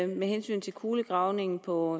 med hensyn til kulegravningen på